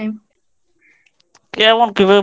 কেমন কি